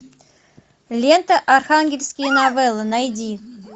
лента архангельские новеллы найди